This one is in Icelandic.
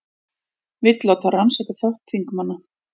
Vill láta rannsaka þátt þingmanna